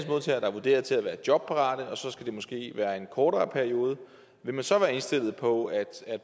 vurderet til at være jobparate og så skal det måske være i en kortere periode vil man så være indstillet på at